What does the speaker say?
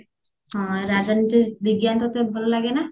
ହଁ ରାଜନୀତି ବିଜ୍ଞାନ ତତେ ଭଲ ଲାଗେ ନା